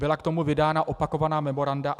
Byla k tomu vydána opakovaná memoranda.